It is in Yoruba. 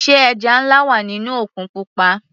Sé ẹja nlá wà nínú òkun pupa.